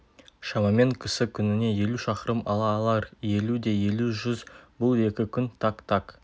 шамамен кісі күніне елу шақырым ала алар елу де елу жүз бұл екі күн так так